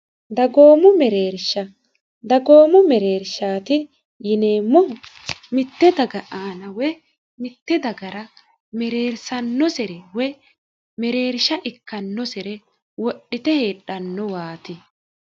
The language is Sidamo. dagoomo mereersha dagoomo mereershaati yineemmoho mitte daga aana we mitte dagara mereersannosere wo mereersha ikkannosire wodhite heedhannowaati